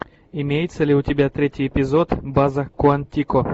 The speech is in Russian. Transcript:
имеется ли у тебя третий эпизод база куантико